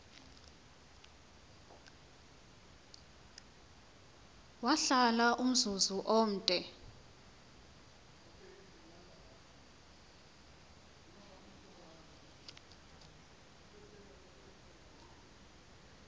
wahlala umzuzu omde